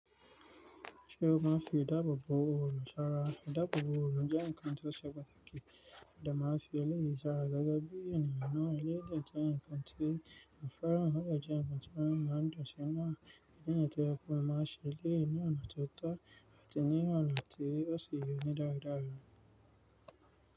Ṣé o máa ń fi ìdáàbò bo òrò sára? Ìdáàbò bo òrò jẹ́ nǹkan tó ṣe pàtàkì. Ẹ̀dà máa ń fi eléyìí sára gẹ́gẹ́ bí ènìyàn náà lè jẹ́ ǹkan tí a fẹ́ràn tàbí jẹ́ ǹkan tí wọ́n máa ń dọ̀tí náà. Ẹ̀dà ní ètò yọkù máa ń ṣe léè ní ọ̀nà tó tọ́ àti ní ọ̀nà tí ó sì yọ ní dáradára.